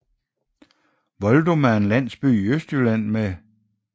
Voldum er en landsby i Østjylland med